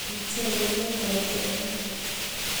Kandabek boryet eng' ichek ko metokei